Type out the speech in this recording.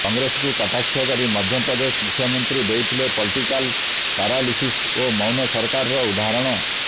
କଂଗ୍ରେସକୁ କଟାକ୍ଷ କରି ମଧ୍ୟପ୍ରଦେଶ ମୁଖ୍ୟମନ୍ତ୍ରୀ ଦେଇଥିଲେ ପଲିଟିକାଲ୍ ପାରାଲିସିସ ଓ ମୌନ ସରକାରର ଉଦାହରଣ